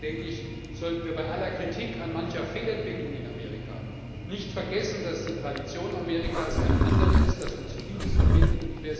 Deswegen sollten wir bei aller Kritik an mancher Fehlentwicklung in Amerika nicht vergessen, dass die Tradition Amerikas eine andere ist und uns Vieles verbindet.